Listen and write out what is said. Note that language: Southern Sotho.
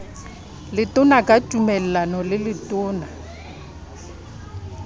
letona ka tumellano le letona